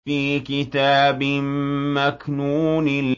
فِي كِتَابٍ مَّكْنُونٍ